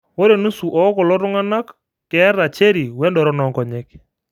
Ore nusu ookulo tung'anak oata cherry wendoron oonkonyek.